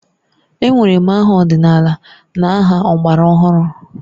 E nwere ma aha ọdịnala na aha ọgbara ọhụrụ